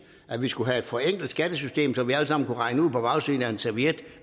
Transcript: at vi skulle have et forenklet skattesystem så vi alle sammen kunne regne ud på bagsiden af en serviet